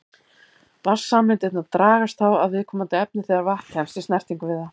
Vatnssameindirnar dragast þá að viðkomandi efni þegar vatn kemst í snertingu við það.